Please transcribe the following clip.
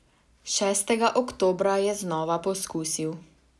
Šestega oktobra je znova poskusil.